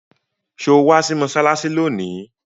Sọ wá sí mọ́ṣáláṣí lónìí?